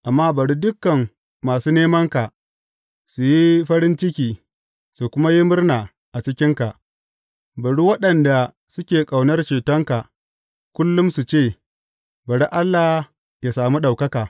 Amma bari dukan masu nemanka su yi farin ciki su kuma yi murna a cikinka; bari waɗanda suke ƙaunar cetonka kullum su ce, Bari Allah yă sami ɗaukaka!